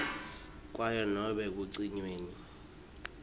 kwayo nobe ekucinyweni